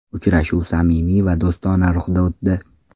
Uchrashuv samimiy va do‘stona ruhda o‘tdi.